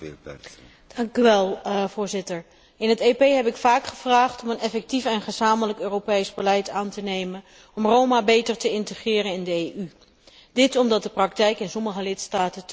Voorzitter, in het EP heb ik vaak gevraagd om een effectief en gezamenlijk Europees beleid aan te nemen om Roma beter te integreren in de EU, dit omdat de praktijk in sommige lidstaten teveel te wensen over laat.